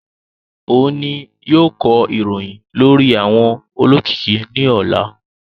O ni yóò kọ ìròyìn lórí àwọn olókìkí ní ọ̀la